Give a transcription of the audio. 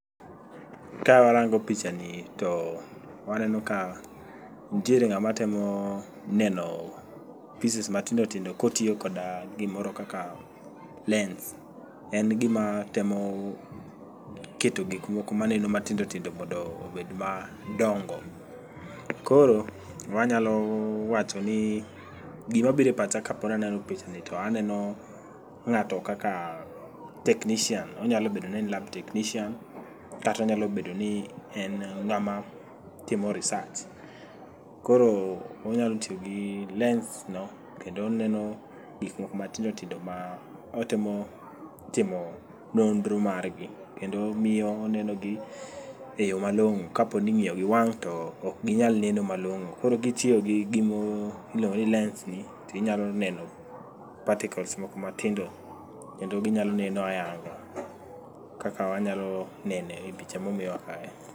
Ka warango picha ni to waneno ka ntiere ng'ama temo neno pieces matindo tindo kotiyo koda gimoro kaka lens. En gima temo keto gikmoko ma neno matindo tindo mondo obed madongo. Koro wanyalo wacho ni gima bire pacha kapona neno picha ni to aneno ng'ato kaka technician. Onyalo bedo ni en lab technician kata onyalo bedo ni en ng'ama timo research. Koro onyalo tiyo gi lens no kendo oneno gik moko matindo tindo ma otemo timo nonro margi. Kendo miyo onenogi e yo malong'o kapo ni ing'iyo gi wang' to ok ginyal neno malong'o. Koro kitiyo gi gimo iluongo ni lens ni tinyalo neno particles moko ma tindo kendo ginyalo neno ayanga. Kaka wanyalo neno e picha momiwa kae.